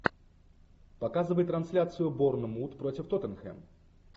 показывай трансляцию борнмут против тоттенхэм